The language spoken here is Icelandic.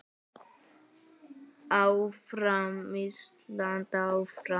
Áfram Ísland, áfram.